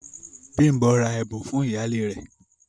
Bímbò rà ẹ̀bùn fún iyálẹ rè.